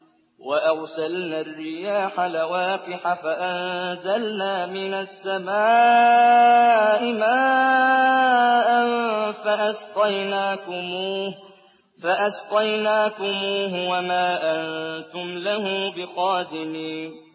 وَأَرْسَلْنَا الرِّيَاحَ لَوَاقِحَ فَأَنزَلْنَا مِنَ السَّمَاءِ مَاءً فَأَسْقَيْنَاكُمُوهُ وَمَا أَنتُمْ لَهُ بِخَازِنِينَ